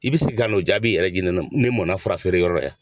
I bɛ se ka n'o jaabi yɛrɛ di ne mɔ n na fura feere yɔrɔ la yan.